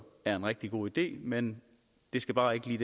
er en rigtig god idé men det skal bare ikke lige